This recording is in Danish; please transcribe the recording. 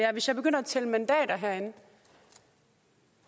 hvis jeg begynder at tælle mandater herinde